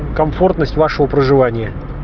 комфортность вашего проживания